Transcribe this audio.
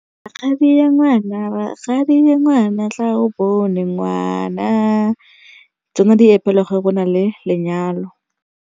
Rakgadi ya ngwana, rakgadi wa ngwana tla o bone ngwana. Tsona di opelwa ga go na le lenyalo.